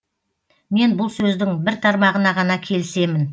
мен бұл сөздің бір тармағына ғана келісемін